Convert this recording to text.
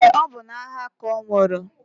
Eé, ọ bụ n'agha ka ọ nwụrụ.